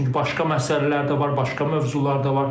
Çünki başqa məsələlər də var, başqa mövzular da var.